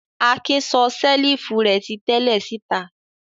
Akin sọ ṣẹ́lífù rẹ̀ ti tẹ́lẹ̀ síta.